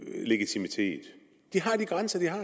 legitimitet de har de grænser de har